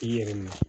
I yɛrɛ ma